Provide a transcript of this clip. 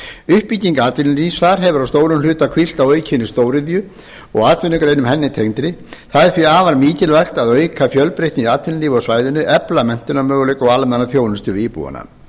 uppbygging atvinnulífs þar hefur að stórum hluta hvílt á aukinni stóriðju og atvinnugreinum henni tengdri það er því er afar mikilvægt að auka fjölbreytni í atvinnulífi á svæðinu efla menntunarmöguleika og almenna þjónustu við íbúana